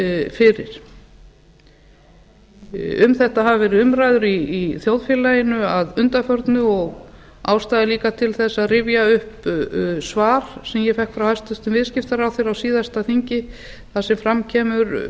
fyrir um þetta hafa verið umræður í þjóðfélaginu að undanförnu og ástæða er líka til þess að rifja upp svar sem ég fékk frá hæstvirtur viðskiptaráðherra á síðasta þingi þar sem fram kemur